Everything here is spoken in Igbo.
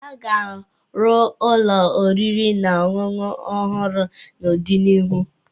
A ga-arụ ụlọ oriri na ọṅụṅụ ọhụrụ n'ọdịnihu.